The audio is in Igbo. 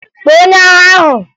Kpọọ onye agha ahụ!